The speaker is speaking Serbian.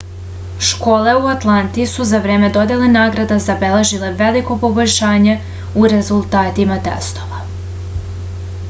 школе у ​​атланти су за време доделе награда забележиле велико побољшање у резултатима тестова